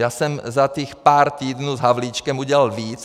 Já jsem za těch pár týdnů s Havlíčkem udělal víc.